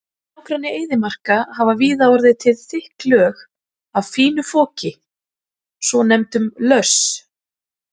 Í nágrenni eyðimarka hafa víða orðið til þykk lög af fínu foki, svonefndum löss.